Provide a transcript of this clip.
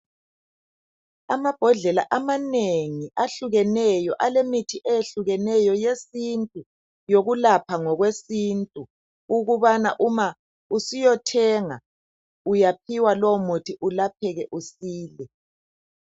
Amabhodlela amanengi ahlukeneyo, alemithi eyehlukeneyo yesintu yokulapha ngokwesintu ukubana uma usiyothenga uyaphiwa lowo muthi ulapheke usile.